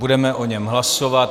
Budeme o něm hlasovat.